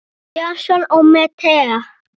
Jason og Medea.